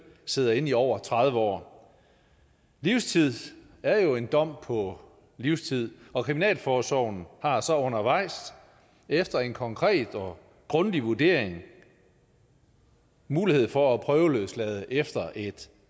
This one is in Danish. sidder inde i over tredive år livstid er jo en dom på livstid og kriminalforsorgen har så undervejs efter en konkret og grundig vurdering mulighed for at prøveløslade efter et